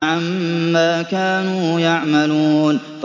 عَمَّا كَانُوا يَعْمَلُونَ